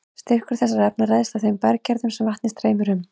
Styrkur þessara efna ræðst af þeim berggerðum sem vatnið streymir um.